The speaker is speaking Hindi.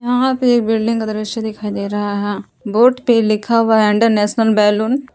यहाँ पे एक बिल्डिंग का दृश्य दिखाई दे रहा है बोर्ड पे लिखा हुआ है इंटरनेशनल बैलून।